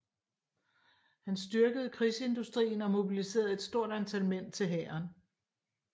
Han styrkede krigsindustrien og mobiliserede et stort antal mænd til hæren